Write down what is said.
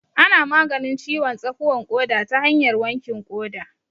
Ana maganin ciwon tsakuwan ƙoda ta hanyar wankin ƙoda